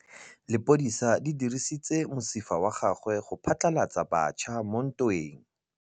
Lepodisa le dirisitse mosifa wa gagwe go phatlalatsa batšha mo ntweng.